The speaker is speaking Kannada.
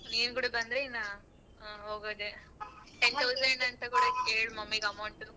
ಹ ನೀನ್ ಕುಡ ಬಂದ್ರೆ ಇನ್ನ ಹೋಗೋದೇ. ten thousand ಅಂತ ಬೇರೆ ಕೇಳ್ mummy ಗೆ amount ಉ.